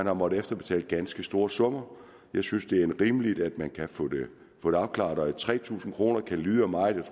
har måttet efterbetale ganske store summer jeg synes det er rimeligt at man kan få det afklaret tre tusind kroner kan lyde af meget